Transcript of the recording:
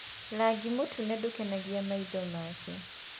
Rangi mũtune ndũkenagia maitho make.